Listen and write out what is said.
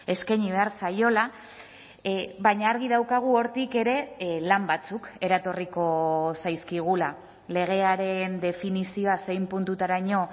eskaini behar zaiola baina argi daukagu hortik ere lan batzuk eratorriko zaizkigula legearen definizioa zein puntutaraino